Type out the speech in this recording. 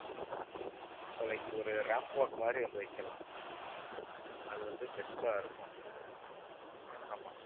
so like ஒரு ramp walk மாதிரி வந்து வைக்கலாம் அது வந்து best ஆ இருக்கும். ஆமா.